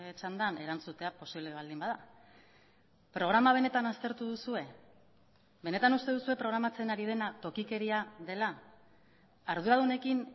txandan erantzutea posible baldin bada programa benetan aztertu duzue benetan uste duzue programatzen ari dena tokikeria dela arduradunekin